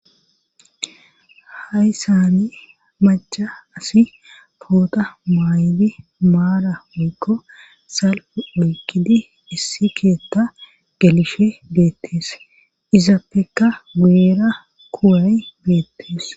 Hay saami maca asi poota maaydi maara woykko salfu oykkidi issi keetta gelishe beettees izappeka guuera kuuray beettees.